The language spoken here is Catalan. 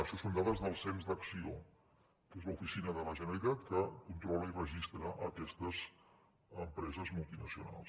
això són dades del cens d’acció que és l’oficina de la generalitat que controla i registra aquestes empreses multinacionals